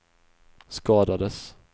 skadades